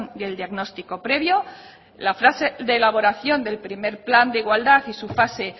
y el diagnóstico previo la fase de elaboración del primer plan de igualdad y su fase